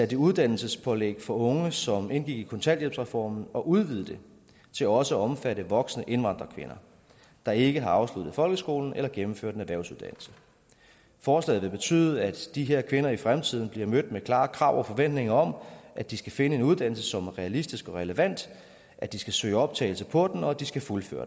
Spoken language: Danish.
det uddannelsespålæg for unge som indgik i kontanthjælpsreformen og udvide det til også at omfatte voksne indvandrerkvinder der ikke har afsluttet folkeskolen eller gennemført en erhvervsuddannelse forslaget vil betyde at de her kvinder i fremtiden bliver mødt med klare krav til og forventninger om at de skal finde en uddannelse som er realistisk og relevant at de skal søge optagelse på den og at de skal fuldføre